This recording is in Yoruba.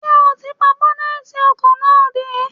Ṣé ó ti pa bọ́nẹ́tì ọkọ̀ náà dé?